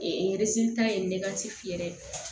ta ye ne ka ci yɛrɛ ye